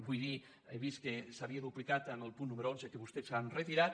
vull dir he vist que s’havia duplicat amb el punt número onze que vostès han retirat